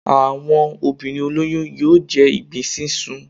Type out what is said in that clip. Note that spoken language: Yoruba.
Àwọn obinrin olóyún yóò jẹ ìgbín sísun.